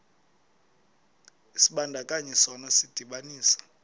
isibandakanyi sona sidibanisa